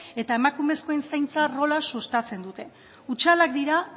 eta emakumezkoen zaintza rola sustatzen dute hutsalak dira